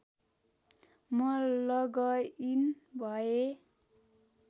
म लगइन भएँ